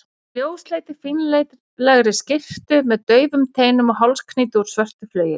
ljósleitri, fínlegri skyrtu með daufum teinum og hálsknýti úr svörtu flaueli.